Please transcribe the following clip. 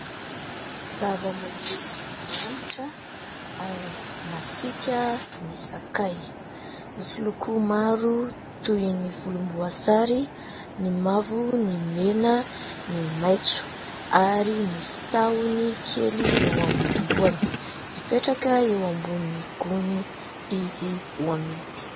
Zavamaniry manitra ary masiaka ny sakay. Misy loko maro toy ny volomboasary, ny mavo, ny mena, ny maitso ary misy tahony kely eo amin'ny lohany. Mipetraka eo ambonin'ny gony izy ho amidy.